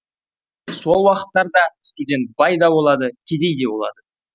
сол уақыттарда студент бай да болады кедей де болады